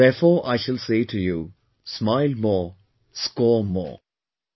And therefore I shall say to you 'Smile More Score More'